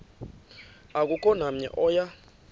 akukho namnye oya